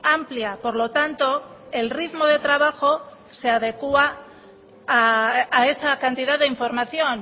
amplia por lo tanto el ritmo de trabajo se adecua a esa cantidad de información